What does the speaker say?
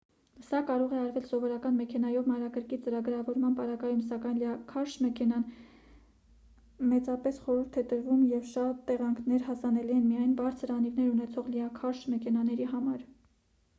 սա կարող է արվել սովորական մեքենայով մանրակրկիտ ծրագրավորման պարագայում սակայն լիաքարշ մեքենան է մեծապես խորհուրդ տրվում և շատ տեղանքներ հասանելի են միայն բարձր անիվներ ունեցող լիաքարշ մեքենաների համար